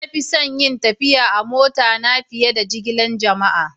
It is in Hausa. Na fi son yin tafiya a'mota na fiyar da jigilan jama'a.